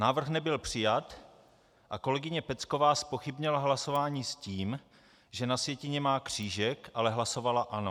Návrh nebyl přijat a kolegyně Pecková zpochybnila hlasování s tím, že na sjetině má křížek, ale hlasovala ano.